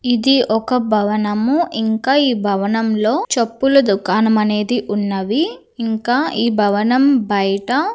ఇది ఒక భవనము ఇంకా ఈ భవనంలో చెప్పుల దుకాణం అనేది ఉన్నవి. ఇంకా ఈ భవనం బయట--